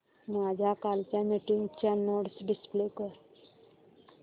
माझ्या कालच्या मीटिंगच्या नोट्स डिस्प्ले कर